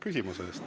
Küsimuse eest.